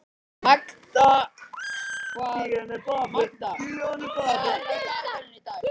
Magda, hvað er á dagatalinu í dag?